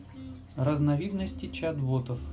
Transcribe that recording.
разновидности чат-ботов